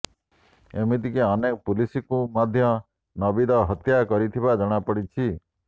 ଏମିତିକି ଅନେକ ପୁଲିସଙ୍କୁ ମଧ୍ୟ ନବୀଦ ହତ୍ୟା କରିଥିବା ଜଣାପଡ଼ିଛି